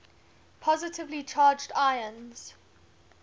positively charged ions